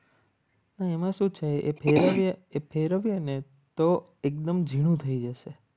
એમાં શું છે એ ફેરવીને તો એકદમ ઝીણું થઈ જશે.